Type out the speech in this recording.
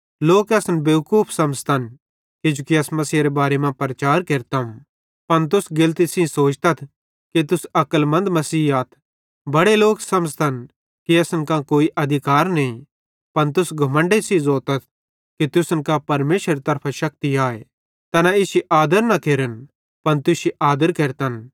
लोक असन बेवकूफ समझ़तन किजोकि अस मसीहेरे बारे मां प्रचार केरतम पन तुस गेतली सेइं सोचतथ कि तुस अक्लमन्द मसीही आथ बड़े लोक समझ़तन कि असन कां कोई अधिकार नईं पन तुस घमण्डे सेइं ज़ोतथ कि तुसन कां परमेशरेरे तरफां शक्ति आए तैना इश्शी आदर न केरन पन तुश्शी आदर केरतन